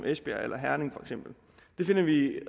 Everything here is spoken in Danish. esbjerg eller herning det finder vi